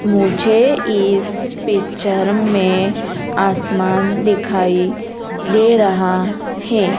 मुझे इस पिक्चर में आसमान दिखाई दे रहा है।